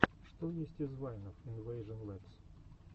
что есть из вайнов инвэйжон лэбс